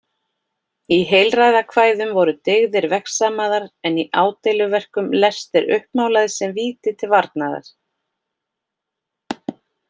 Í heilræðakvæðum voru dyggðir vegsamaðar en í ádeiluverkum lestir uppmálaðir sem víti til varnaðar.